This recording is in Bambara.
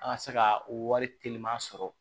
An ka se ka wari telima sɔrɔ